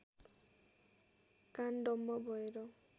कान डम्म भएर